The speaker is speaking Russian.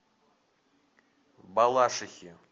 балашихе